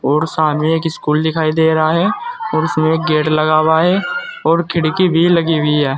और सामने एक स्कूल दिखाई दे रहा है और उसमें गेट लगा हुआ है और खिड़की भी लगी हुई है।